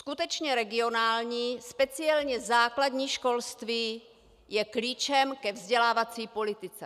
Skutečně regionální, speciálně základní školství je klíčem ke vzdělávací politice.